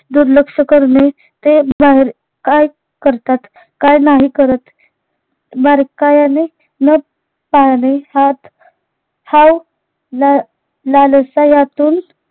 दुर्लक्ष करणे, ते बाहेर काय करतात, काय नाही करत बारकायाने न पाहणे हात ला लालसायातून